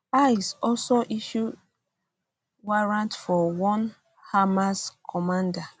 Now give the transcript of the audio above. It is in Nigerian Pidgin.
icc also issue also issue warrant for one hamas commander